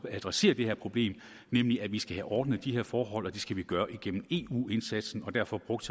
at adressere det her problem nemlig at vi skal have ordnet de her forhold og at det skal vi gøre gennem eu indsatsen og derfor brugte